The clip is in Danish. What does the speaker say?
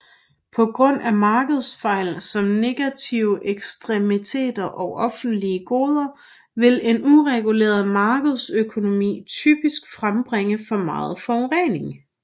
På grund af markedsfejl som negative eksternaliteter og offentlige goder vil en ureguleret markedsøkonomi typisk frembringe for meget forurening